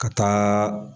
Ka taa